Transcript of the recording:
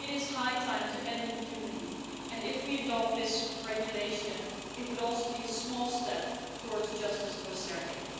It is high time to end impunity and, if we adopt this regulation, it would also be a small step towards justice for Sergei Magnitsky.